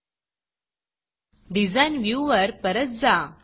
Designडिज़ाइन viewer परत जा